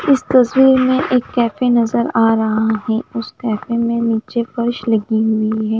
इस तस्वीर में एक कैफ़े नज़र आरहा है उस कैफ़े नीचे फर्श लगी हुई है।